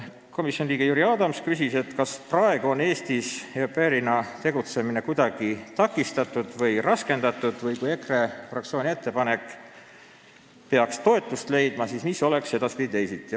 Komisjoni liige Jüri Adams küsis, kas praegu on Eestis au pair'ina tegutsemine kuidagi takistatud või raskendatud või kui EKRE fraktsiooni ettepanek peaks toetust leidma, siis mis oleks edaspidi teisiti.